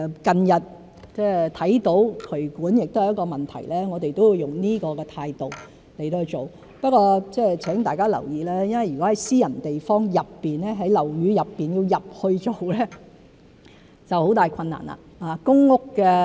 近日看到渠管亦是一個問題，我們亦會以此態度來處理，不過請大家留意，如果在私人地方內、在樓宇內，要進去做工作就會有很大困難。